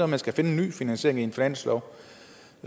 man skal finde en ny finansiering i en finanslov